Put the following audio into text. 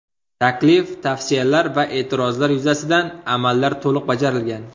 Taklif, tavsiyalar va e’tirozlar yuzasidan amallar to‘liq bajarilgan.